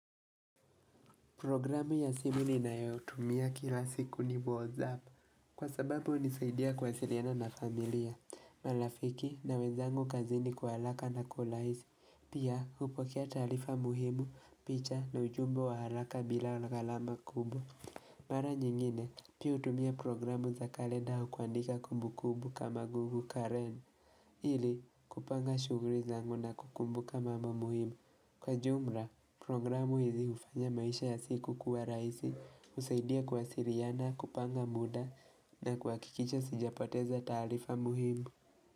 Programu ya simu ni na yo utumia kila siku ni WhatsApp, kwa sababu unisaidia kuwa siliana na familia, marafiki na wezangu kazini kwa haraka na kwa urahisi, pia hupokia taarifa muhimu, picha na ujumbe wa haraka bila gharama kubwa. Mara nyingine, pia hutumia programu za kalenda au kuandika kumbu kumbu kama google Karen, ili kupanga shughuli zangu na kukumbu ka mambo muhimu. Kwa jumla, programu hizi hufanya maisha ya siku kuwa rahisi, husaidia kuwa siliana, kupanga muda na kuha kikisha sijapoteza taarifa muhimu.